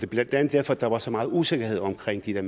blandt andet derfor der var så meget usikkerhed omkring de der